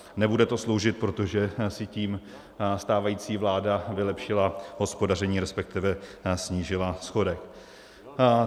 Nebude to sloužit, protože si tím stávající vláda vylepšila hospodaření, respektive snížila schodek.